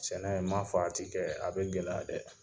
Sɛnɛ n m'a fɔ a t i kɛ a bɛ gɛlɛya dɛ!